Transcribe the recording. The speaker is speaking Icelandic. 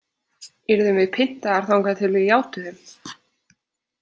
Yrðum við pyntaðar þangað til við játuðum?